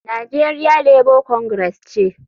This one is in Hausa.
Nigeria Labour Congress ce.